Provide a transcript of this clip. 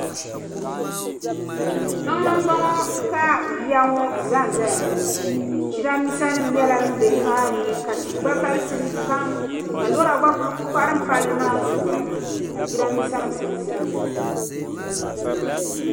Tiŋni n bɔŋɔ ka yiya ŋɔ zanzaya ŋɔ jiranbisa nim nyɛla din be nimaani, ka tihi gba galisini pam ka lɔra gba kuli kparim pali maa zuɣu, ka jiranbisa nim kuli zanzay